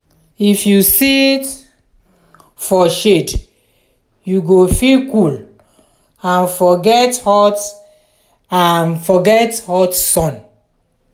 if you sit for shade you go feel cool and forget hot and forget hot sun.